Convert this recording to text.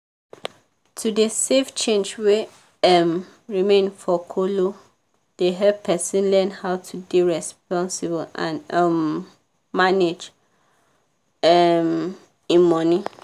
to dey save change wey um remain for kolo dey help person learn how to dey responsible and um manage um im money.